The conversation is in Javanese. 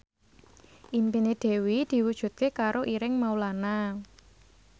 impine Dewi diwujudke karo Ireng Maulana